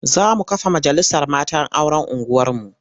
Za mu kafa majalisar matan auren unguwarmu.